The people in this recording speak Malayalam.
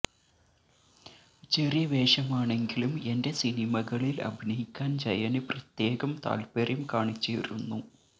ചെറിയ വേഷമാണെങ്കിലും എന്റെ സിനിമകളില് അഭിനയിക്കാന് ജയന് പ്രത്യേകം താത്പര്യം കാണിച്ചിരുന്നു